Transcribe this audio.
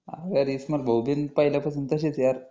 अरे इस्माईल भाऊ पण पहिल्यापासून तसेच आहे ना यार